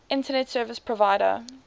internet service provider